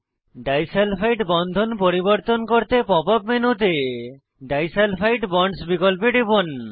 disulphide বন্ধন পরিবর্তন করতে পপ মেনুতে ডিসালফাইড বন্ডস বিকল্পে খুলুন